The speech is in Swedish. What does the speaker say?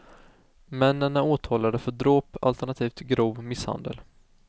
Männen är åtalade för dråp alternativ grov misshandel.